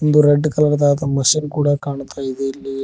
ಒಂದು red colour ದಾದ machine ಕೂಡ ಕಾಣುತಾ ಇದೆ ಇಲ್ಲಿ--